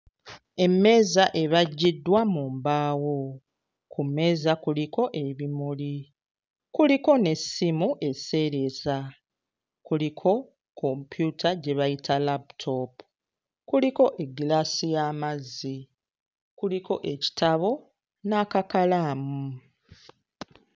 Emmeeza ebajjiddwa mu mbaawo, ku mmeeza kuliko ebimuli kuliko n'essimu eseereza, kuliko kompyuta gye bayita laputoopu, kuliko eggiraasi y'amazzi, kuliko ekitabo n'akakalaamu.